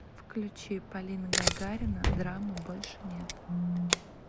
включи полина гагарина драмы больше нет